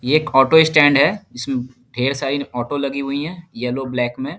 ये एक auto stand है इसमे ढेर सारी ऑटो लगी हुई है येलो ब्लैक में।